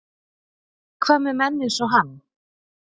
Hvað með menn eins og hann?